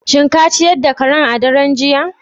Shin ka ciyar da karan a daren jiya?